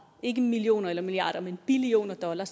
ikke millioner eller milliarder men billioner dollar